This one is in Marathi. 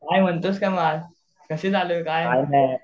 काय म्हणतोस काय मग कशी चालू आहे?